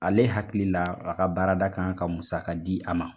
Ale hakili la a ka baarada kan ka musa ka di a ma